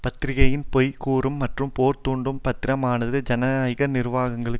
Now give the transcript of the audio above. பத்திரிகையின் பொய் கூறும் மற்றும் போர் தூண்டும் பாத்திரமானது ஜனநாயக நிறுவனங்களின்